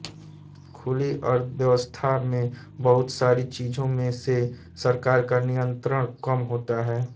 खुली अर्थव्यवस्था मे बहुत सारी चीज़ों पे से सरकार का नियंत्रण कम होता है